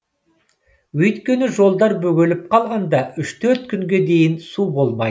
өйткені жолдар бөгеліп қалғанда үш төрт күнге дейін су болмайды